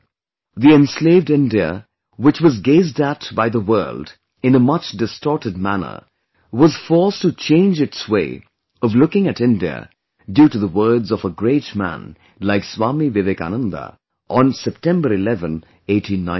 The enslaved India which was gazed at by the world in a much distorted manner was forced to change its way of looking at India due to the words of a great man like Swami Vivekananda on September 11, 1893